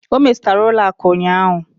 O metụtara ụlọ akụ ụnyaahụ?